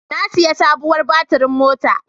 Na sayi sabuwar baturin mota.